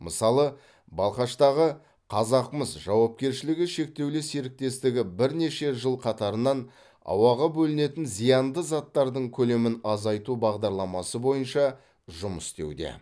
мысалы балқаштағы қазақмыс жауапкершіліг шектеулі серіктестігі бірнеше жыл қатарынан ауаға бөлінетін зиянды заттардың көлемін азайту бағдарламасы бойынша жұмыс істеуде